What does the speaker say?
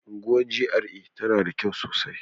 Unguwar GRA tana da kyau sosai